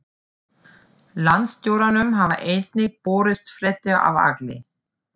Landstjóranum hafa einnig borist fréttir af Agli